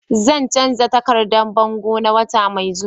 Zan canza takardan bango na wata mai zuwa.